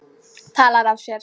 Talar af sér.